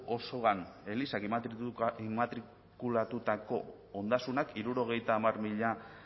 osoan elizak immatrikulatutako ondasunak hirurogeita hamar mila